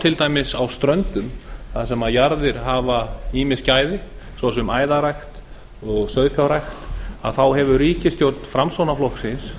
til dæmis á ströndum þar sem jarðir hafa ýmis gæði ss æðarrækt og sauðfjárrækt að þá hefur ríkisstjórn framsóknarflokksins